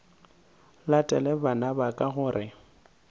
latele bana ba ka gore